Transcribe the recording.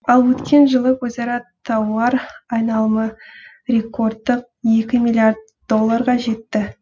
ал өткен жылы өзара тауар айналымы рекордтық екі миллиард долларға жетті